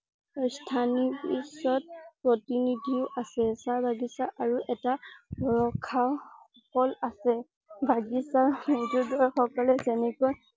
স্থানীয় পিছত প্ৰতিনিধিও আছে। চাহ বাগিচা আৰু এটা ভৰসা অকল আছে। বাগিচা মৌজাদাৰ সকলে যেনেকৈ